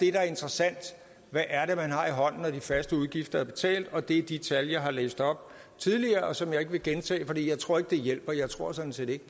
er interessant hvad er det man har i hånden når de faste udgifter er betalt og det er de tal jeg har læst op tidligere og som jeg ikke vil gentage for jeg tror ikke at det hjælper jeg tror sådan set ikke